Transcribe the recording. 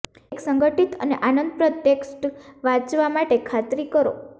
એક સંગઠિત અને આનંદપ્રદ ટેક્સ્ટ વાંચવા માટે ખાતરી કરો